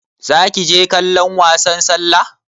Zaki je kallon wasan sallah?